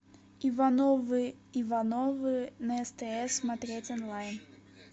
ивановы ивановы на стс смотреть онлайн